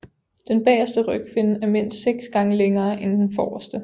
Den bagerste rygfinne er mindst 6 gange længere end den forreste